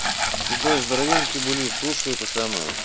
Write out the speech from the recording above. седой здоровеньки були слушай это самое